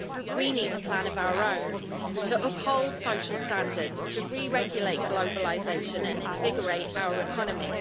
We need a plan of our own to uphold social standards, to re regulate globalisation and invigorate our economy.